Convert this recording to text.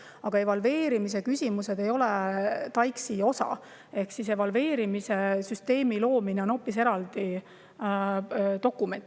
Aga evalveerimise küsimused ei ole TAIKS-i osa ehk evalveerimise süsteemi loomise kohta on hoopis eraldi dokument.